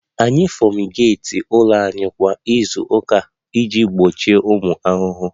Anyị fumigeeti ụlọ anyị kwa izu ụka iji gbochie ụmụ ahụhụ